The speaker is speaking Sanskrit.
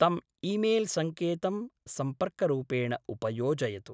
तम् ईमेल् संकेतं सम्पर्करूपेण उपयोजयतु।